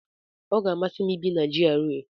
Ọ ga-amasị m ibi na GRA.